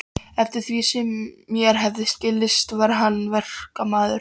Eftir því sem mér hafði skilist var hann verkamaður.